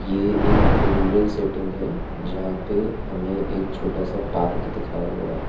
ये एक rural setting है जहां पे हमें एक छोटा सा पार्क दिखाया हुआ है।